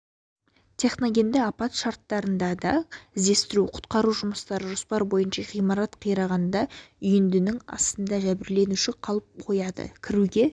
техногенді апат шарттарында да іздестіру-құтқару жұмыстары жоспар бойынша ғимарат қирағанда үйіндінің астында жәбірленуші қалып қояды кіруге